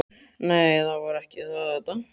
Nei, það var ekki það, Edda.